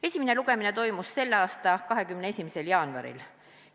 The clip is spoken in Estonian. Esimene lugemine toimus tänavu 21. jaanuaril.